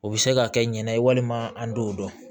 O bɛ se ka kɛ ɲana ye walima an t'o dɔn